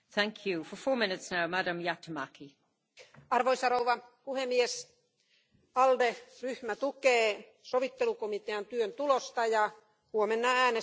Arvoisa rouva puhemies, ALDE ryhmä tukee sovittelukomitean työn tulosta ja huomenna äänestämme ensi vuoden budjetin hyväksymisen puolesta.